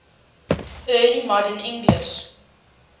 early modern english